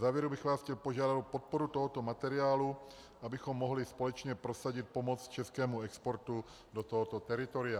Závěrem bych vás chtěl požádat o podporu tohoto materiálu, abychom mohli společně prosadit pomoc českému exportu do tohoto teritoria.